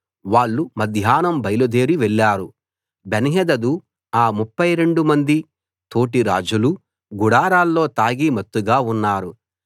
వాళ్ళు మధ్యాహ్నం బయలుదేరి వెళ్ళారు బెన్హదదు ఆ 32 మంది తోటిరాజులూ గుడారాల్లో తాగి మత్తుగా ఉన్నారు